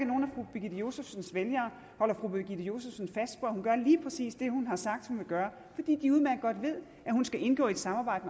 birgitte josefsens vælgere holder fru birgitte josefsen fast på at hun gør lige præcis det hun har sagt hun vil gøre fordi de udmærket godt ved at hun skal indgå i et samarbejde